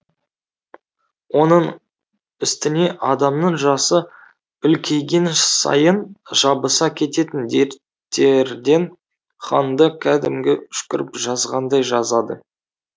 оның үстіне адамның жасы үлкейген сайын жабыса кететін дерттерден ханды кәдімгі үшкіріп жазғандай жазады